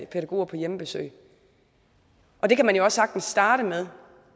pædagoger på hjemmebesøg og det kan man jo også sagtens starte med